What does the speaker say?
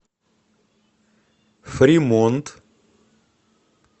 фримонт